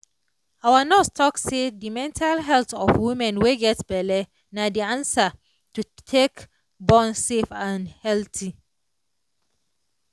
our nurse talk say de mental health of woman wey get belle na de answer to take born safe and healthy